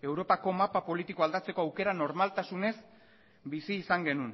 europako mapa politikoa aldatzeko aukera normaltasunez bizi izan genuen